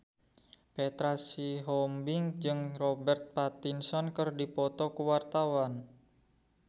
Petra Sihombing jeung Robert Pattinson keur dipoto ku wartawan